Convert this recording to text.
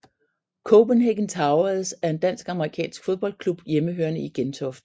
Copenhagen Towers er en dansk amerikansk fodboldklub hjemmehørende i Gentofte